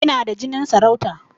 Ina da jinin sarauta